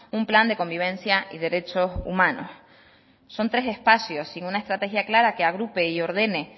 un plan de convivencia y derechos humanos son tres espacios sin una estrategia clara que agrupe y ordene